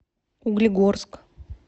углегорск